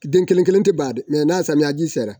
den kelen kelen tɛ ban dɛ n'a samiyɛji sera